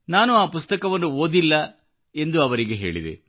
ನಾನು ಈ ಪುಸ್ತಕವನ್ನು ಓದಿಲ್ಲ ಎಂದು ನಾನು ಅವರಿಗೆ ಹೇಳಿದೆ